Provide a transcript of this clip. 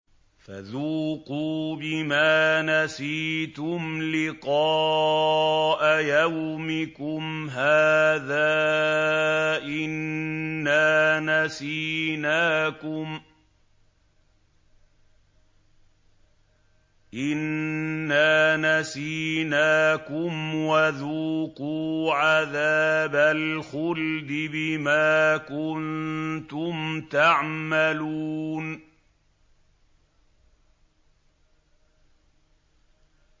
فَذُوقُوا بِمَا نَسِيتُمْ لِقَاءَ يَوْمِكُمْ هَٰذَا إِنَّا نَسِينَاكُمْ ۖ وَذُوقُوا عَذَابَ الْخُلْدِ بِمَا كُنتُمْ تَعْمَلُونَ